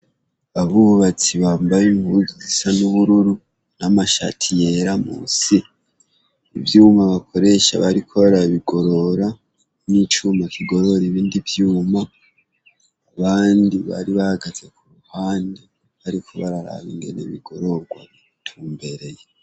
Abubatsi bambaye impuzu zisa n' ubururu n' amashati yera munsi. Ivyuma bakoresha bariko barabigorora n' icuma kigorora ibindi vyuma, abandi bari hahagaze ku ruhande bariko baraba ukuntu bigirorwa bitumbereye.